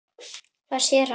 Hvað sér hann?